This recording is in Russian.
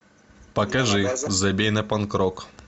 покажи забей на панк рок